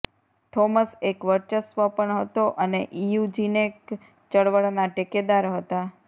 Thomas એક વર્ચસ્વ પણ હતો અને ઇયુજેનિક ચળવળના ટેકેદાર હતા